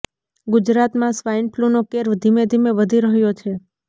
ગુજરાતમાં સ્વાઈન ફલૂનો કેર ધીમે ધીમે વધી રહ્યો છે